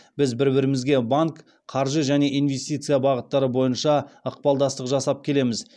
біз бір бірімізбен банк қаржы және инвестиция бағыттары бойынша ықпалдастық жасап келеміз